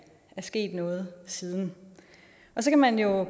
er sket noget siden og så kan man jo